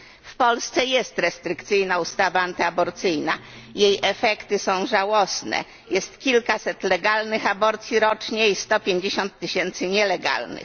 W Polsce jest restrykcyjna ustawa antyaborcyjna, jej efekty są żałosne jest kilkaset legalnych aborcji rocznie i 150 tysięcy nielegalnych.